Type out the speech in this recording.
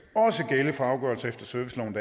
også gælde for afgørelser efter serviceloven